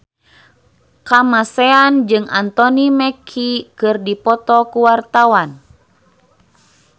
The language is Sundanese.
Kamasean jeung Anthony Mackie keur dipoto ku wartawan